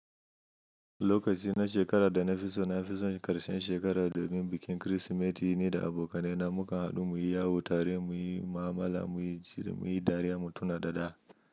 Lokaci na shekara da na fi so na fi so ƙarshen shekara domin bikin Kirsimeti ni da abokaina muka haɗu muyi yawon tare, muyi mu'amala, muyi dariya mu tuna da da.